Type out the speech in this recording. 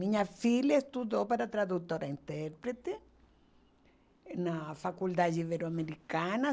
Minha filha estudou para tradutor e intérprete na faculdade ibero-americana.